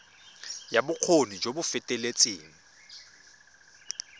ya bokgoni jo bo feteletseng